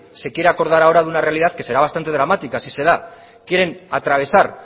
se quiere acordar ahora de una realidad que será bastante dramática si se da quieren atravesar